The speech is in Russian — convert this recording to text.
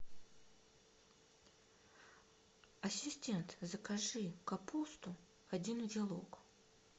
ассистент закажи капусту один узелок